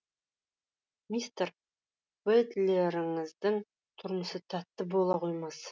мистер бэтлеріңіздің тұрмысы тәтті бола қоймас